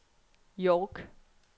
York